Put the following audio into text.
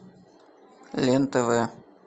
лен тв